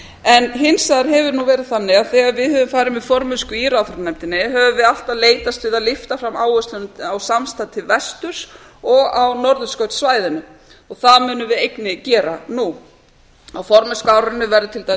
en hins vegar hefur það verið þannig að þegar við höfum farið með formennsku í ráðherranefndinni höfum við alltaf leitast við að lyfta þeim áherslum á samstarf vil vesturs og á norðurskautssvæðinu og það munum við einnig gera nú á formennskuárinu verður til dæmis